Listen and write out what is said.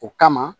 O kama